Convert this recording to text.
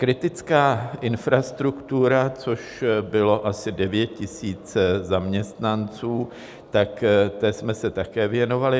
Kritická infrastruktura, což bylo asi 9 000 zaměstnanců, tak té jsme se také věnovali.